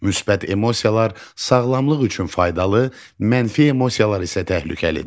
Müsbət emosiyalar sağlamlıq üçün faydalı, mənfi emosiyalar isə təhlükəlidir.